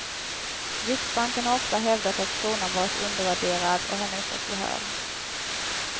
Riksbanken har ofta hävdat att kronan varit undervärderad, och har nu fått gehör.